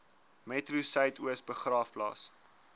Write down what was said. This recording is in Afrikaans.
metro suidoos begraafplaas